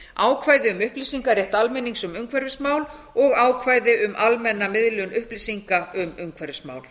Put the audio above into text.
ákvæði um upplýsingarétt almennings um umhverfismál og ákvæði um almenna miðlun upplýsinga um umhverfismál